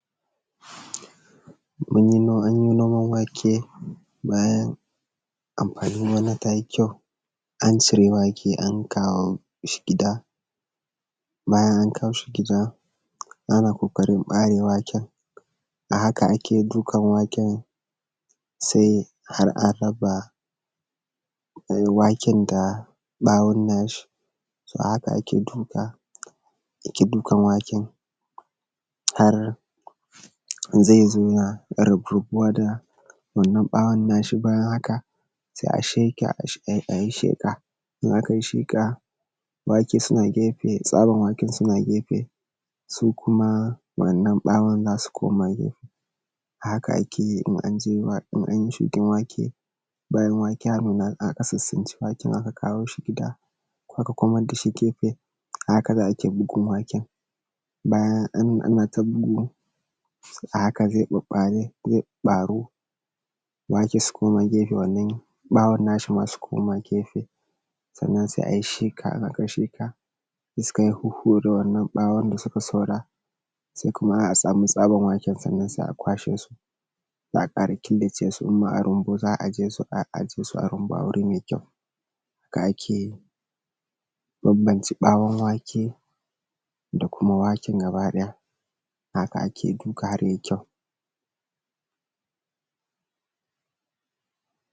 an yi noman wake bayan amfanin gona ta yi kyau an cire wake an kawo shi gida bayan an kawo shi gida ana ƙoƙarin ɓare waken a haka ake dukan waken har a raba waken da ɓawon na shi to a haka ake dukan waken har zai zo ya rabu da wannan ɓawon na shi bayan haka sai a sheƙe a yi shiƙa in a kai shiƙa wake suna gefe tsaban wake suna gefe su kuma wannan ɓawon suna gefe haka ake yi in an yi shukan wake bayan wake ya nuna aka tsitstsinci waken aka kawo shi gida aka komad da shi gefe a haka za a bugu waken bayan a na ta bugu a haka zai ɓaɓɓaru wake su koma gefe wannan ɓawon na shi ma su koma gefe sannan sai ai shiƙa in akai shiƙa iskan ya huhhure wannan ɓawon da su kai saura sai kuma a samu tsaban waken sannan sai a kwashe su sai a ƙara killace su in ma a rumbu za a aje su a aje su a rumbun a guri mai kyau haka ake bambance ɓawon wake da kuma waken gaba ɗaya haka ake shuka mai kyau